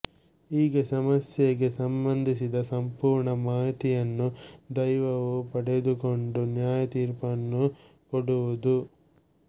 ಹೀಗೆ ಸಮಸ್ಯೆಗೆ ಸಂಬಂಧಿಸಿದ ಸಂಪೂರ್ಣ ಮಾಹಿತಿಯನ್ನು ದೈವವು ಪಡೆದುಕೊಂಡು ನ್ಯಾಯ ತೀರ್ಪನ್ನು ಕೊಡುವುದು